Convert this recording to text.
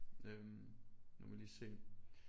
Øhm nu må jeg lige se